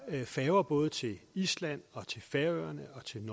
færger både til island færøerne